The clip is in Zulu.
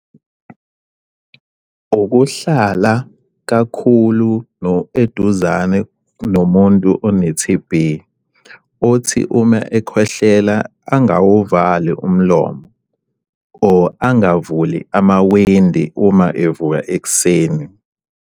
Ukuhlala kakhulu eduzane nomuntu one-T_B. Othi uma ekhwehlela angawuvali umlomo or angavuli amawindi uma evuka ekuseni.